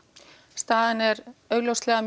staðan augljóslega